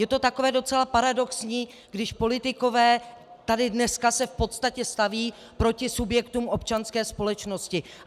Je to takové docela paradoxní, když politikové tady dneska se v podstatě staví proti subjektům občanské společnosti.